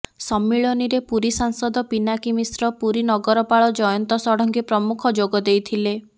ସମ୍ମିଳନୀରେ ପୁରୀ ସାଂସଦ ପିନାକୀ ମିଶ୍ର ପୁରୀ ନଗରପାଳ ଜୟନ୍ତ ଷଡଙ୍ଗୀ ପ୍ରମୁଖ ଯୋଗଦେଇଥିଲେ